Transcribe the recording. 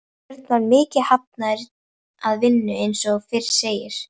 Björn var mjög hafður að vinnu eins og fyrr segir.